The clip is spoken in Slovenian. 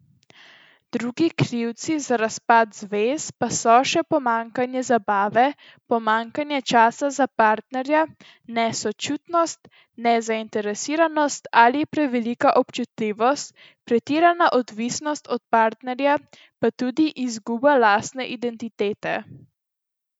Drugi krivci za razpad zvez pa so še pomanjkanje zabave, pomanjkanje časa za parterja, nesočutnost, nezainteresiranost ali prevelika občutljivost, pretirana odvisnost od partnerja pa tudi izguba lastne identitete.